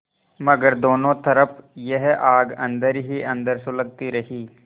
मगर दोनों तरफ यह आग अन्दर ही अन्दर सुलगती रही